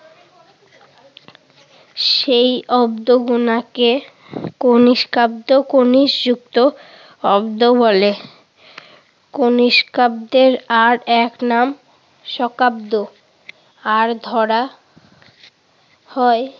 সেই অব্দ গোনাকে কনিষ্কাব্দ, কনিশযুক্ত অব্দ বলে। কিনষ্কাব্দের আরেক নাম শকাব্দ। আর ধরা হয়